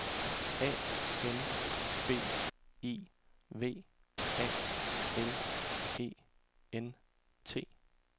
A M B I V A L E N T